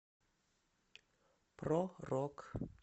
про рок